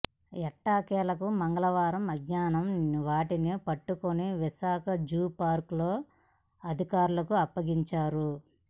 ఎట్టకేలకు మంగళవారం మధ్యాహ్నం వాటిని పట్టుకుని విశాఖజూ పార్క్ అధికారులకు అప్పగించారు